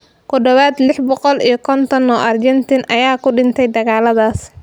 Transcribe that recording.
Ku dhawaad lix boqol iyo konton oo Argentine ah ayaa ku dhintay dagaalladaas.